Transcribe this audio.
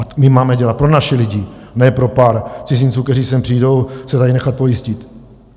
A my máme dělat pro naše lidi, ne pro pár cizinců, kteří sem přijdou se tady nechat pojistit.